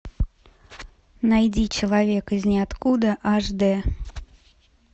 найди человек из ниоткуда аш дэ